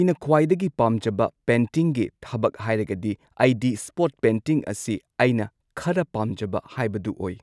ꯑꯩꯅ ꯈ꯭ꯋꯥꯏꯗꯒꯤ ꯄꯥꯝꯖꯕ ꯄꯦꯟꯇꯤꯡꯒꯤ ꯊꯕꯛ ꯍꯥꯏꯔꯒꯗꯤ ꯑꯩꯗꯤ ꯁ꯭ꯄꯣꯠ ꯄꯦꯟꯇꯤꯡ ꯑꯁꯤ ꯑꯩꯅ ꯈꯔ ꯄꯥꯝꯖꯕ ꯍꯥꯏꯕꯗꯨ ꯑꯣꯏ꯫